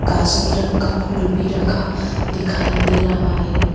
कास्नी रंग का फूल भी रखा दिखाई दे रहा है।